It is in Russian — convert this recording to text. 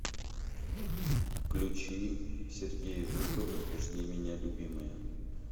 включи сергей жуков жди меня любимая